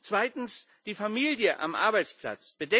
Zweitens die Familie am Arbeitsplatz.